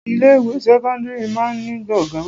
Ilé ìwé sẹ́kọ́ńdírì máa ń ní gbọ̀ngàn.